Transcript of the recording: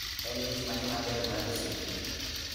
En mich mane maber mar osiepni